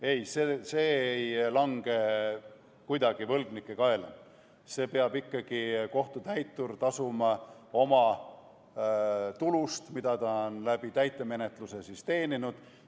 Ei, see ei lange kuidagi võlgnike kaela, selle peab ikkagi kohtutäitur tasuma oma tulust, mida ta on täitemenetluse kaudu teeninud.